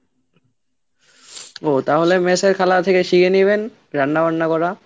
ও তাহলে mess এর খালা থেকে শিখে নিবেন রান্না বান্না করা।